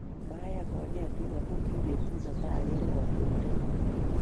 Mayan konyek chuk amu kibetut netai akere kandoindet nyo